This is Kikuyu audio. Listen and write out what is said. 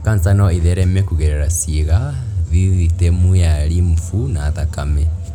kanca no ĩthereme kũgerera ciĩga, thithitemu ya lymph na thakame.